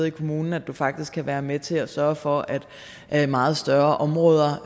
i kommunen at man faktisk kan være med til at sørge for at meget større områder